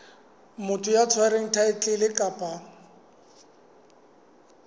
motho ya tshwereng thaetlele kapa